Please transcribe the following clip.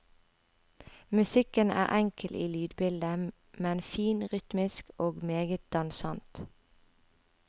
Musikken er enkel i lydbildet, men fin rytmisk og meget dansant.